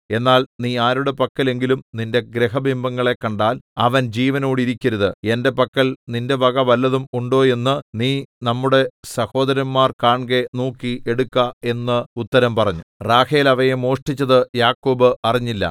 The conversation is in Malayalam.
എന്നാൽ നീ ആരുടെ പക്കൽ എങ്കിലും നിന്റെ ഗൃഹബിംബങ്ങളെ കണ്ടാൽ അവൻ ജീവനോടിരിക്കരുത് എന്റെ പക്കൽ നിന്റെ വക വല്ലതും ഉണ്ടോ എന്നു നീ നമ്മുടെ സഹോദരന്മാർ കാൺകെ നോക്കി എടുക്ക എന്നുത്തരം പറഞ്ഞു റാഹേൽ അവയെ മോഷ്ടിച്ചത് യാക്കോബ് അറിഞ്ഞില്ല